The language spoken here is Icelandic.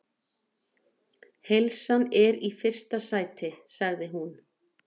Heilsan er í fyrsta sæti, sagði hún.